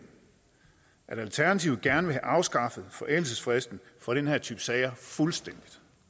at alternativet gerne vil have afskaffet forældelsesfristen for den her type sager fuldstændig